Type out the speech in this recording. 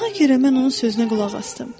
Nahaq yerə mən onun sözünə qulaq asdım.